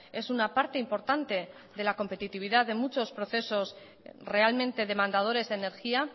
es una parte importante de la competitividad de muchos procesos realmente demandadores de energía